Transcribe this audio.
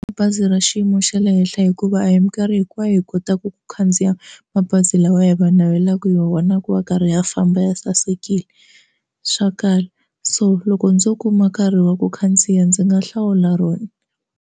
Bazi ra xiyimo xa le henhla hikuva a hi minkarhi hinkwayo yi kotaka ku khandziya mabazi lawa hi va navelaka hi vona ku va a karhi a famba ya sasekile swa kala so loko ndzo kuma nkarhi wa ku khandziya ndzi nga hlawula rona.